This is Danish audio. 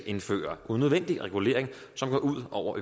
indføre unødvendig regulering som går ud over